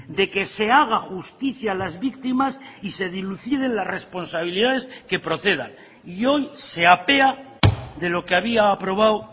de que se haga justicia a las víctimas y se diluciden las responsabilidades que procedan y hoy se apea de lo que había aprobado